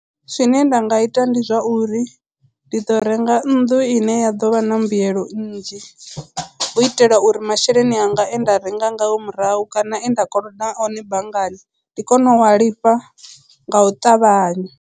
Zwine nda nga ita ndi zwa uri ndi ḓo renga nnḓu ine ya ḓo vha na mbuyelo nnzhi u itela uri masheleni anga e nda renga ngao murahu kana enda koloda one banngani ndi kone u a lifha nga u ṱavhanya.